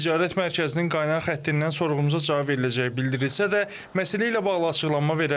Ticarət mərkəzinin qaynar xəttindən sorğumuza cavab veriləcəyi bildirilsə də, məsələ ilə bağlı açıqlama verən olmadı.